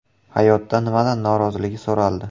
Hayotda nimadan norozligi so‘raldi.